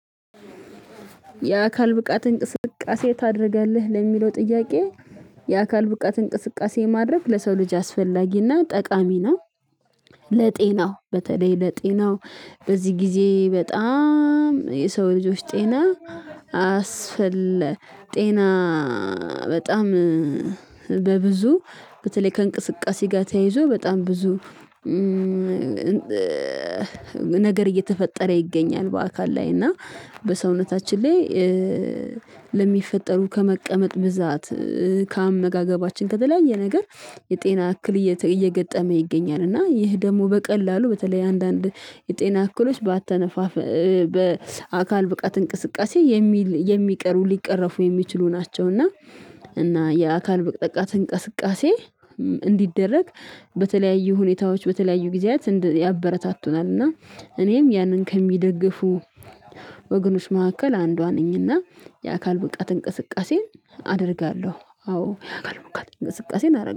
የአካል ብቃት እንቅስቃሴ ታደርጋለህ ለሚለው ጥያቄ? የአካል ብቃት እንቅስቃሴ ማድረግ ለሰው ልጅ አስፈላጊና ጠቃሚ ነው። ለጤናው በተለይ ለጤናው በዚህ ጊዜ በጣም የሰው ልጆች ጤና አስፈለ ጤና በጣም በብዙ በተለይ ከእንቅስቃሴ ጋር ተያይዞ በጣም ብዙ ነገር እየተፈጠረ ይገኛል። በአካል ላይ እና በሰውነታችን ላይ ለሚፈጠሩ ከመቀመጥ ብዛት ከአመጋገባችን ከተለያየ ነገር የጤና እክል እየገጠመ ይገኛል። እና ይህ ደግሞ በቀላሉ በተለይ አንዳንድ የጤና አክሎች በአተነፋፈ በአካል ብቃት እንቅስቃሴ የሚል የሚቀሩ ሊቀረፉ የሚችሉ ናቸው። እና እና የአካል ብቃት እንቅስቃሴ እንዲደረግ በተለያዩ ሁኔታዎች በተለያዩ ጊዜያት ያበረታቱናል። እና እኔም ያንን ከሚደግፉ ወገኖች መካከል አንዷ ነኝና የአካል ብቃት እንቅስቃሴ አደርጋለሁ አዎ የአካል ብቃት እንቅስቃሴን አረግ